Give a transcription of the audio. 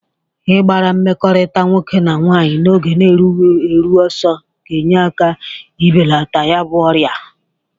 Ị gbara mmekọrịta nwoke na nwaanyị n'oge erughi eru ọsọ ga-enye aka n'ibelata ya bụ ọrịa.